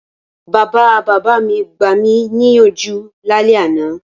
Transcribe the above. Bàbabàbá mi gbami níyànjú lálẹ́ àná.